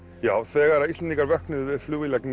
já þegar Íslendingar vöknuðu við